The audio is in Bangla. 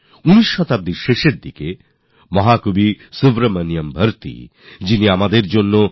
ঊনবিংশ শতাব্দীর শেষভাগে মহাকবি সুব্রহ্মণ্যম ভারতী জী বলেছিলেন আর তামিলে বলেছিলেন